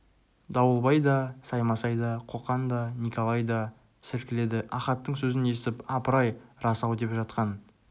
дауылбай да саймасай да қоқан да некәлай да сілкіледі ахаттың сөзін естіп апыр-ай рас-ау деп жатқан